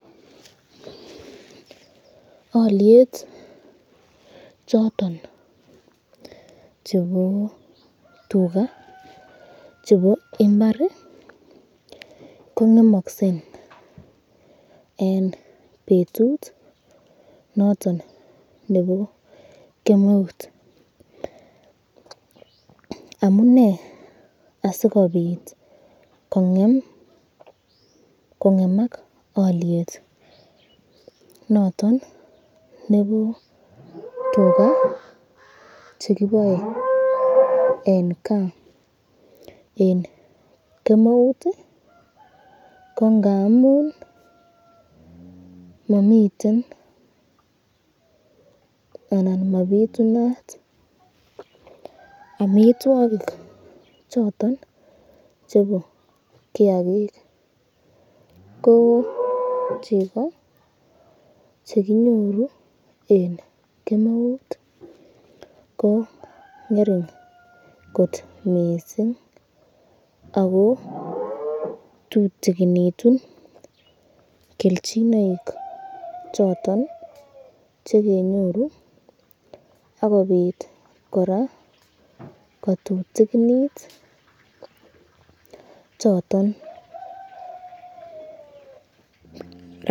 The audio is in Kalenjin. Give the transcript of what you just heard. Alyet choton chebo tuka chebo imbar kongemaksen eng betut noton nebo kemeut, amune asikobit kongemak alyet noton nebo tuka chekiboe eng kas eng kemeut ko ngamun mamiten anan mabitunat amitwokik choton chebo kiakik ,ko cheko chekinyoru eng kemeut ko ngering kot mising ako tutikinitun kelchinoik choton chekinyoru, akobit koraa kotutikinit choton .